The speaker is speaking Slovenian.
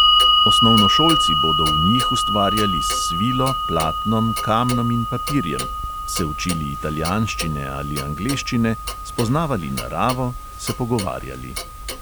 Osnovnošolci bodo v njih ustvarjali s svilo, platnom, kamnom in papirjem, se učili italijanščine ali angleščine, spoznavali naravo, se pogovarjali.